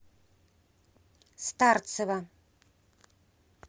старцева